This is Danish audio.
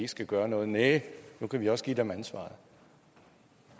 skal gøre noget næh nu kan vi også give dem ansvaret